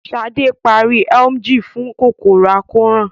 Ṣadé parí Emgyl fún kòkòrò àkóràn